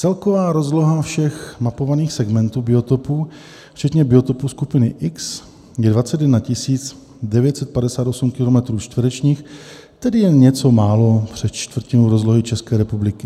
Celková rozloha všech mapovaných segmentů biotopů včetně biotopů skupiny X je 21 958 km2, tedy jen něco málo přes čtvrtinu rozlohy České republiky.